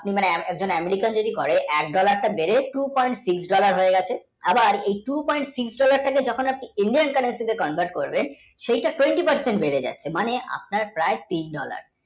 একজন American যদি করে এক dollar টা বেড়ে two point six dollar হয়ে গেছে আবার এই two point six dollar টা কে যখন আপনি সাথে convert করবেন সেই টা twenty per cent বেড়ে যাচ্ছে মানে আপনার প্রায় তিন dollar